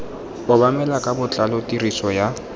obamelwa ka botlalo tiriso ya